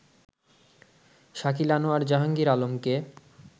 শাকিল আনোয়ার জাহাঙ্গীর আলমকে